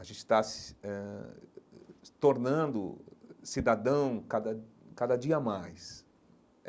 A gente está se eh tornando cidadão cada cada dia a mais.